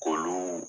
K'olu